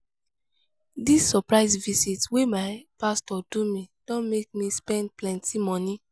dis surprise visit wey my pastor do me don make me spend plenty moni.